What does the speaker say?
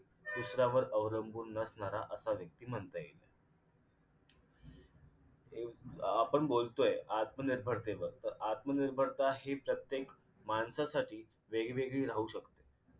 दुसऱ्यावर अवलंबून नसणारा असा व्यक्ती म्हणता येईल अह आपण बोलतोय आत्मनिर्भरतेवर तर आत्मनिर्भरता ही प्रत्येक माणसासाठी वेगवेगळी राहु शकते.